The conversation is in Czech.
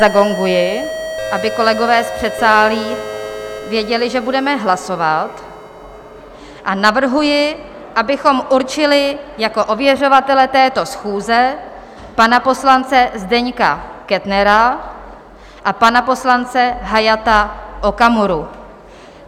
Zagonguji, aby kolegové z předsálí věděli, že budeme hlasovat, a navrhuji, abychom určili jako ověřovatele této schůze pana poslance Zdeňka Kettnera a pana poslance Hayata Okamuru.